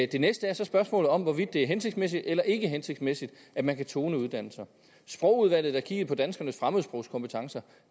det næste er så spørgsmålet om hvorvidt det er hensigtsmæssigt eller ikke hensigtsmæssigt at man kan tone uddannelser sprogudvalget der kiggede på danskernes fremmedsprogskompetencer